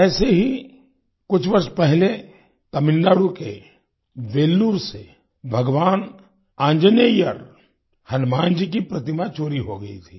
ऐसे ही कुछ वर्ष पहले तमिलनाडु के वेल्लूर से भगवान आंजनेय्यर हनुमान जी की प्रतिमा चोरी हो गई थी